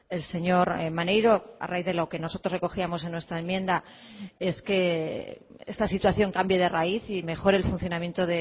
el señor maneiro a raíz de lo que nosotros recogíamos en nuestra enmienda es que esta situación cambie de raíz y mejore el funcionamiento